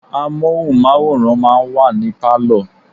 Móhùnmáwòrán máa ń wà ní Pálọ̀.